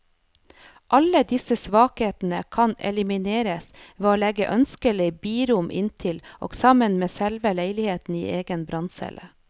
Alle disse svakheter kan elimineres ved å legge ønskelige birom inntil og sammen med selve leiligheten i egen branncelle.